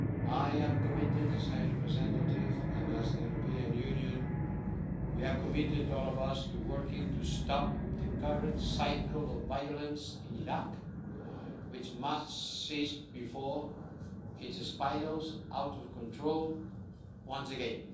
I am committed, as High Representative, and, as the European Union, we are all committed to working to stop the current cycle of violence in Iraq, which must cease before it spirals out of control once again.